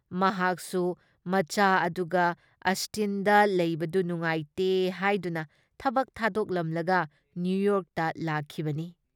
ꯃꯍꯥꯛꯁꯨ ꯃꯆꯥ ꯑꯗꯨꯒ ꯑꯁꯇꯤꯟꯗ ꯂꯩꯕꯗꯨ ꯅꯨꯡꯉꯥꯏꯇꯦ ꯍꯥꯏꯗꯨꯅ ꯊꯕꯛ ꯊꯥꯗꯣꯛꯂꯝꯂꯒ ꯅ꯭ꯌꯨꯌꯣꯔꯛꯇ ꯂꯥꯛꯈꯤꯕꯅꯤ ꯫